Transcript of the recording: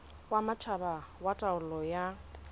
wa matjhaba wa taolo ya